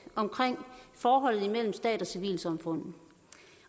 omkring forholdet imellem stat og civilsamfund